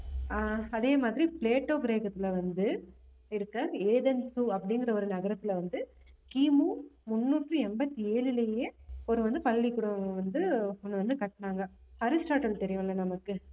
ஆஹ் அதே மாதிரி பிளேட்டோ கிரகத்தில வந்து இருக்கிற ஏதென்ஸு அப்படிங்கற ஒரு நகரத்துல வந்து கிமு முன்னூத்தி எண்பத்தி ஏழுலையே வந்து பள்ளிக்கூடம் வந்து ஒண்ணு வந்து கட்டினாங்க அரிஸ்டாட்டில் தெரியும் இல்ல நமக்கு